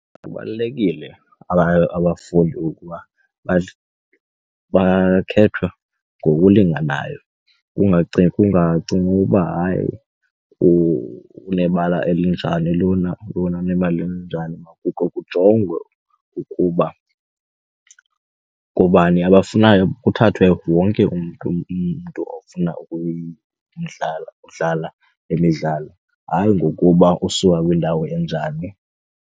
Kubalulekile abafundi ukuba bakhethwe ngokulinganayo. Kungacingi uba hayi unebala elinjani lona lona unebala elinjani. kukhe kujongwe ukuba ngobani abafunayo kuthathwe wonke umntu ofuna ukudlala le midlalo hayi ngokuba usuka kwindawo enjani.